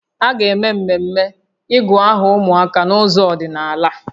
A ga-eme mmemme ịgụ aha ụmụaka n'ụzọ ọdịnaala